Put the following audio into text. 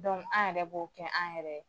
an yɛrɛ b'o kɛ an yɛrɛ